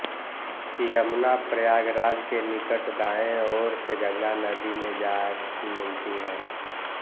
यमुना प्रयागराज के निकट दायें ओर से गंगा नदी में जा मिलती है